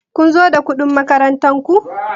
Kun zo da kuɗin makarantar ku?